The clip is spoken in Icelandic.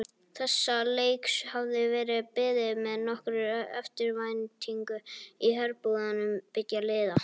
Þessa leiks hafði verið beðið með nokkurri eftirvæntingu í herbúðum beggja liða.